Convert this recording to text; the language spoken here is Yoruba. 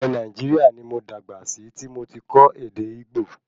Ilé Nàìjíríà ní mo dàgbà sí tí mo tí kọ́ ède Ìgbò